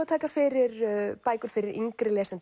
að taka fyrir bækur fyrir yngri lesendur